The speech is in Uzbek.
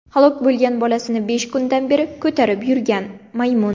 Halok bo‘lgan bolasini besh kundan beri ko‘tarib yurgan maymun.